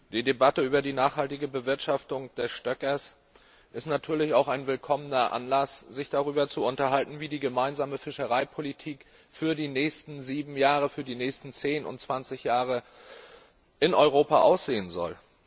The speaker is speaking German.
Die Debatte über die nachhaltige Bewirtschaftung des Stöckers ist natürlich auch ein willkommener Anlass, sich darüber zu unterhalten, wie die gemeinsame Fischereipolitik für die nächsten sieben, zehn, zwanzig Jahre in Europa aussehen soll.